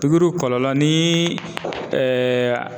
Pikiriw kɔlɔlɔ nii